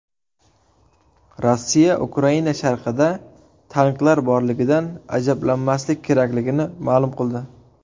Rossiya Ukraina sharqida tanklar borligidan ajablanmaslik kerakligini ma’lum qildi.